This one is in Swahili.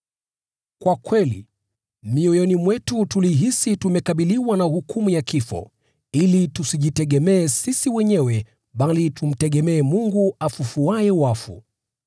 Kwa kweli, mioyoni mwetu tulihisi tumekabiliwa na hukumu ya kifo, ili tusijitegemee sisi wenyewe bali tumtegemee Mungu afufuaye wafu.